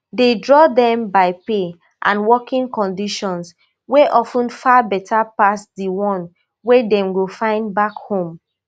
dey draw dem by pay and working conditions wey of ten far beta pass di one wey dem go find back home